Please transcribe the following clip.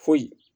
Foyi